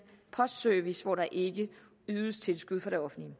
postservice hvor der ikke ydes tilskud fra det offentlige